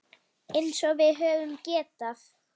Eins og við höfum getað.